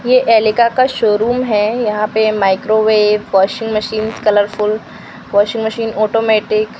ये ऐलिक का शोरूम है यहां पे microwave washing machine colourful washing machine automatic --